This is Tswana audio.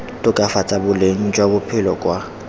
tokafatsa boleng jwa bophelo kwa